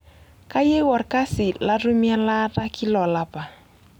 Kyieu olkasi latumie elaata kila olapa.